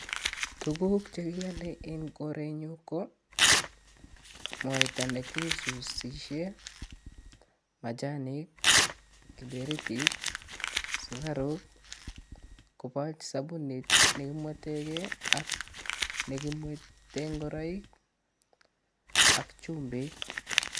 Tuguk che kiale en korenyun ko mwaita nekisuusishen, machanik , kiberetit, sugaruk koboto sobunit ne kimwetenge ak nekimweten ngoroik ak chumbik.